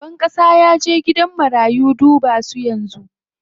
Shugaban ƙasa yaje gidan marayu duba su yanzu.